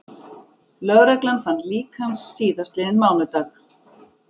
Lögreglan fann lík hans síðastliðinn mánudag